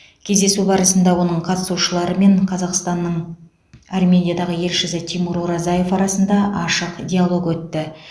кездесу барысында оның қатысушылары мен қазақстанның армениядағы елшісі тимур оразаев арасында ашық диалог өтті